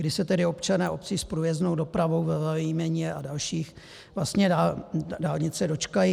Kdy se tedy občané obcí s průjezdnou dopravou ve Velemíně a dalších vlastně dálnice dočkají?